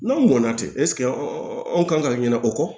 N'anw ŋɔnna te anw kan ka ɲinɛ o kɔ